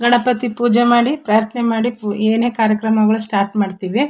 ಗಣಪತಿ ಪೂಜೆ ಮಾಡಿ ಪ್ರಾರ್ಥನೆ ಮಾಡಿ ಏನೆ ಕಾರ್ಯಕ್ರಮಗಳು ಸ್ಟಾರ್ಟ್ ಮಾಡತ್ತಿವಿ.